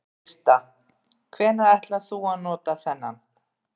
Birta: Hvenær ætlar þú að nota þennan?